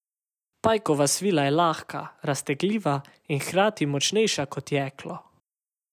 Pajkova svila je lahka, raztegljiva in hkrati močnejša kot jeklo.